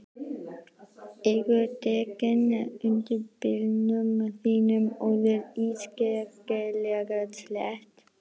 Eru dekkin undir bílnum þínum orðin ískyggilega slétt?